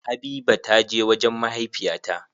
Habiba ta je wajen mahaifiya ta.